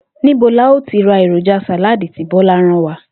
Níbo la óò ti ra èròjà sàláàdì tí Bó̩lá rán wa?